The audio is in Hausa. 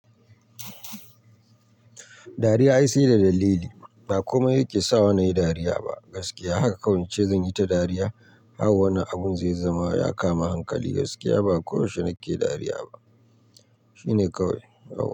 Dariya ai sai da dalili ba komai yake sawa nayi dariya ba gaskiya haka kawai ce zanyi ta dariya har wani abun zai zama ya kama hankali gaskiya ba ko yaushe nake dariya ba shine kawai.